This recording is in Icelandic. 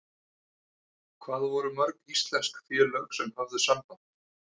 Hvað voru mörg íslensk félög sem höfðu samband?